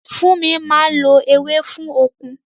Fúnmi máa ń lo ewé fún okun